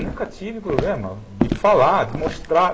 Nunca tive problema de falar, de mostrar.